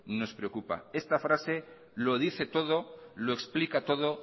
nos preocupa esta frase lo dice todo lo explica todo